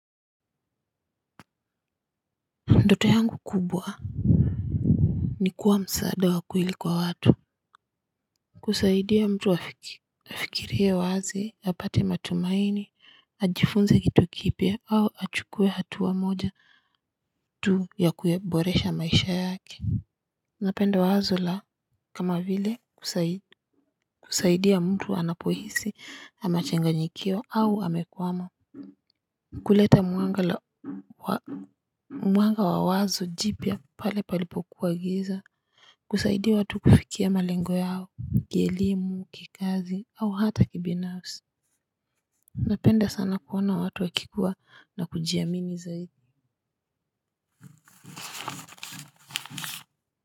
Ndoto yangu kubwa ni kuwa msaada wa kweli kwa watu. Kusaidia mtu afikirie wazi, apate matumaini, ajifunze kitu kipya au achukue hatua moja tu ya kuyaboresha maisha yake. Napenda wazo la kama vile. Kusaidia mtu anapohisi amechanganyikiwa au amekwama. Kuleta mwanga wa wazo jipya pale palipokuwa giza. Kusaidia watu kufikia malengo yao, kielimu, kikazi au hata kibinafsi napenda sana kuona watu wakikua na kujiamini zaidi.